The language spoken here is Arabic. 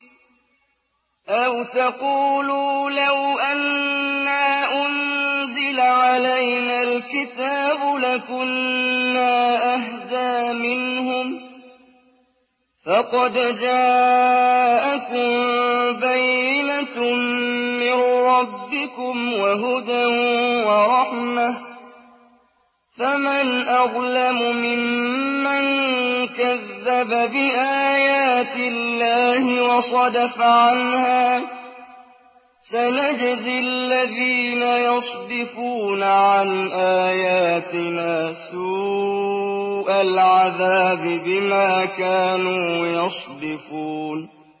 أَوْ تَقُولُوا لَوْ أَنَّا أُنزِلَ عَلَيْنَا الْكِتَابُ لَكُنَّا أَهْدَىٰ مِنْهُمْ ۚ فَقَدْ جَاءَكُم بَيِّنَةٌ مِّن رَّبِّكُمْ وَهُدًى وَرَحْمَةٌ ۚ فَمَنْ أَظْلَمُ مِمَّن كَذَّبَ بِآيَاتِ اللَّهِ وَصَدَفَ عَنْهَا ۗ سَنَجْزِي الَّذِينَ يَصْدِفُونَ عَنْ آيَاتِنَا سُوءَ الْعَذَابِ بِمَا كَانُوا يَصْدِفُونَ